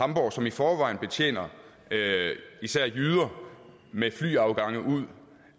hamborg som i forvejen betjener især jyder med flyafgange ud